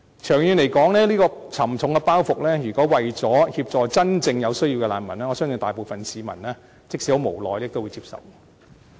長遠來說，如果是為了協助真正有需要的難民，我相信大部分市民即使很無奈，但都會接受這個沉重包袱。